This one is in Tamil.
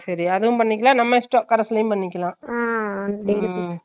சேரி அதவும் பண்ணிக்காலம் நம்ம இஷ்டம் carse லையும் பண்ணிக்காலம் Noise